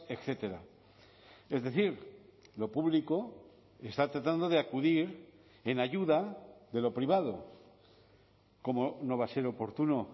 etcétera es decir lo público está tratando de acudir en ayuda de lo privado cómo no va a ser oportuno